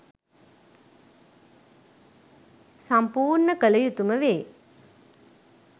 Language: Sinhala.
සම්පූර්ණ කළ යුතුම වේ.